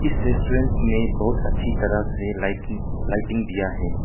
इस रेस्टोरेंट में बहुत अच्छी तरह से लाइट लाइटिंग दिया है।